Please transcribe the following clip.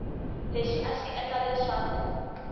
lexi a xi endla leswaku